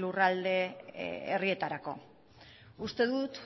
lurralde herrietarako uste dut